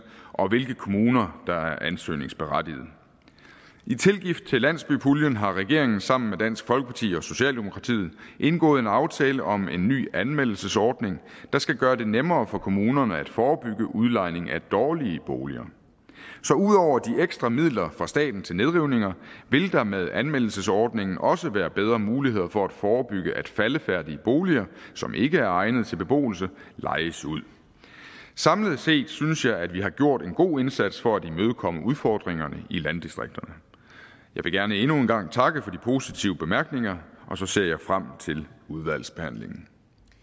og hvilke kommuner der ansøgningsberettigede i tilgift til landsbypuljen har regeringen sammen med dansk folkeparti og socialdemokratiet indgået en aftale om en ny anmeldelsesordning der skal gøre det nemmere for kommunerne at forebygge udlejning af dårlige boliger så ud over de ekstra midler fra staten til nedrivninger vil der med anmeldelsesordningen også være bedre muligheder for at forebygge at faldefærdige boliger som ikke er egnet til beboelse lejes ud samlet set synes jeg at vi har gjort en god indsats for at imødekomme udfordringerne i landdistrikterne jeg vil gerne endnu en gang takke for de positive bemærkninger og så ser jeg frem til udvalgsbehandlingen